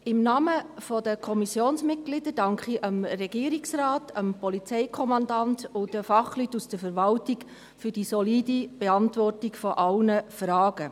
Im Namen der Kommissionsmitglieder danke ich dem Regierungsrat, dem Polizeikommandanten und den Fachleuten aus der Verwaltung für die solide Beantwortung aller Fragen.